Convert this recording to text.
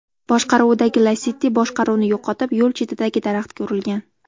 boshqaruvidagi Lacetti boshqaruvni yo‘qotib, yo‘l chetidagi daraxtga urilgan.